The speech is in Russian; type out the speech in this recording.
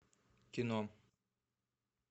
кино